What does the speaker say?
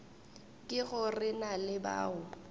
ke go re na bao